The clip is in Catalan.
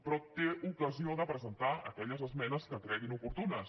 però té ocasió de presentar aquelles esmenes que cregui oportunes